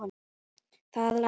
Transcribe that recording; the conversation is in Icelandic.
Það lægir.